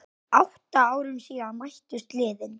Átta árum síðan mættust liðin.